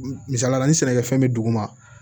Misaliyala ni sɛnɛkɛfɛn bɛ dugu ma